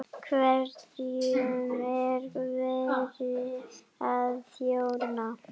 Hverjum er verið að þjóna?